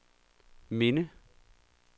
minde